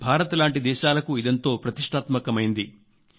భారత్ లాంటి దేశాలకు ఇదెంతో ప్రతిష్టాత్మకమైంది